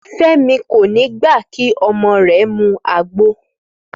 Fẹ́mi kò ní gbà kí ọmọ rẹ̀ mu àgbo